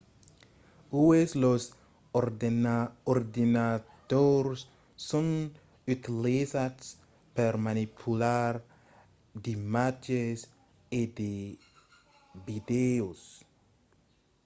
uèi los ordenadors son utilizats per manipular d'imatges e de vidèos